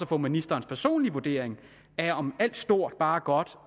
få ministerens personlige vurdering af om alt stort bare er godt